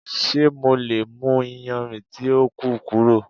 Ṣe MO le mu iyanrin ti o ku kuro?